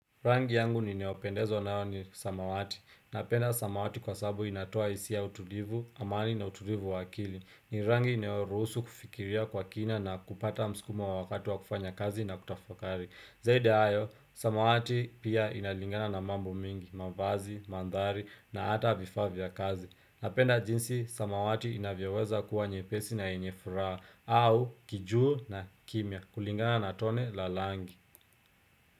Rangi yangu ni ninaopendezo nao ni samawati. Napenda samawati kwa sabu inatoa hisi ya utulivu, amani na utulivu wakili. Ni rangi inayoruhusu kufikiria kwa kina na kupata msukumo wa wakati wa kufanya kazi na kutafakari. Zaidi ya hayo, samawati pia inalingana na mambo mingi, mavazi, mandhari na hata vifaa vya kazi. Napenda jinsi, samawati inavyaweza kuwa nyepesi na yenye furaha au kijuu na kimya kulingana na tone la rangi.